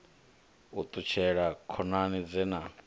u ṱutshela khonani dze na